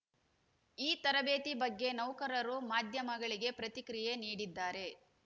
ಈ ತರಬೇತಿ ಬಗ್ಗೆ ನೌಕರರು ಮಾಧ್ಯಮಗಳಿಗೆ ಪ್ರತಿಕ್ರಿಯೆ ನೀಡಿದ್ದಾರೆ